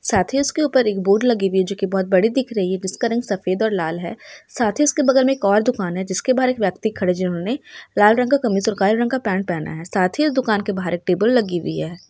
साथ ही इसके ऊपर एक बोर्ड लगी हुई है जो की बहुत बडी दिख रही है| जिसका रंग सफेद और लाल है साथ ही इसके बगल मे एक और दुकान है | जिसके बार एक व्यक्ति खडे जे होनी| लाल रंग का फर्निचर काला रंग का पेन्ट पेहना है साथ ही उस दुकान के बाहर एक टेबल लगी हुई है।